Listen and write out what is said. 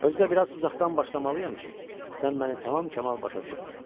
Özü də biraz uzaqdan başlamalıyam ki, sən məni tamam kamal başa düşəsən.